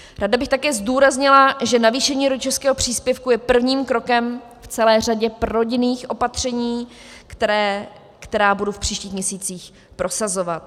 Ráda bych také zdůraznila, že navýšení rodičovského příspěvku je prvním krokem v celé řadě prorodinných opatření, která budu v příštích měsících prosazovat.